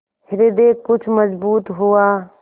हृदय कुछ मजबूत हुआ